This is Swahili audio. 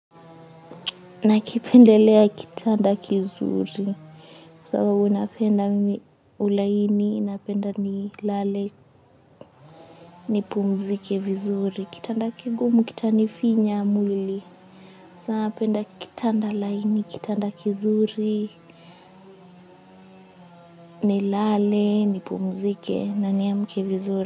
Nakipendelea kitanda kizuri. Kwa sababu napenda mimi ulaini, napenda nilale, nipumzike vizuri. Kitanda kigumu, kitanifinya mwili. Kwa sababu napenda kitanda laini, kitanda kizuri, nilale, nipumzike, na niamke vizuri.